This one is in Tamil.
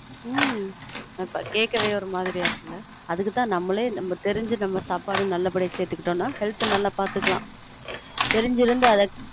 ம்ம் கேட்கவே ஒரு மாதிரியா இருக்குல அதுக்கு தான் தெரிஞ்சு நம்ம சாபாட நல்ல படியா சேர்த்துகிட்டோனான் health நல்லா பார்த்துகலான்